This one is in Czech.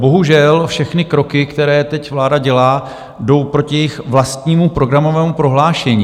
Bohužel všechny kroky, které teď vláda dělá, jdou proti jejímu vlastnímu programovému prohlášení.